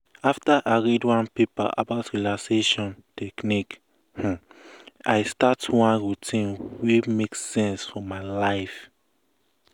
after i read one paper about relaxation um techniques um i um start one routine wey make sense for my life.